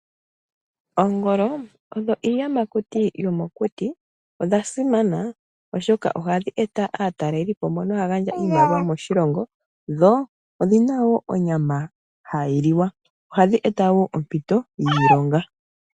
Oongolo iiyamakuti yomokuti. Odha simana ohadhi eta aatalelipo mbono haya eta iimaliwa moshilongo. Dho odhina wo onyama hayi liwa. Ohadhi eta wo oompito dhiilonga.